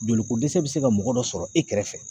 Joli ko dɛsɛ be se ka mɔgɔ dɔ sɔrɔ e kɛrɛfɛ